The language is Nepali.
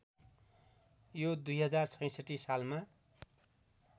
यो २०६६ सालमा